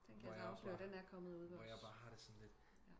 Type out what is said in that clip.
Den kan jeg så afsløre den er kommet ude ved os